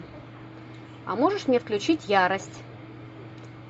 а можешь мне включить ярость